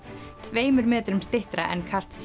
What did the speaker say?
tveimur metrum styttra en kast